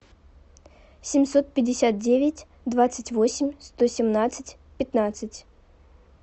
семьсот пятьдесят девять двадцать восемь сто семнадцать пятнадцать